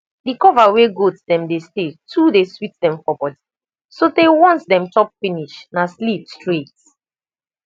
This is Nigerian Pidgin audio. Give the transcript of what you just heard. the cover wey goat dem dey stay too dey sweet dem for body so tey once dem chop finish na sleep straight